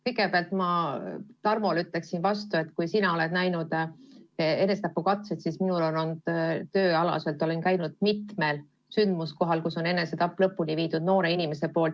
Kõigepealt ma ütlen Tarmole vastu, et kui sina oled näinud enesetapukatseid, siis minul on olnud tööalaselt nii, et olen käinud mitmel sündmuskohal, kus on enesetapp lõpuni viidud, kus noor inimene on seda teinud.